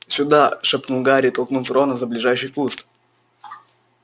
сюда шепнул гарри толкнув рона за ближайший куст